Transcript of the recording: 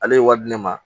Ale ye wari di ne ma